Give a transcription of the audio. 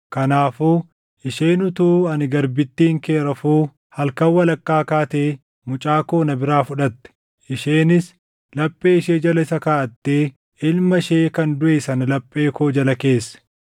Kanaafuu isheen utuu ani garbittiin kee rafuu halkan walakkaa kaatee mucaa koo na biraa fudhatte. Isheenis laphee ishee jala isa kaaʼattee ilma ishee kan duʼe sana laphee koo jala keesse.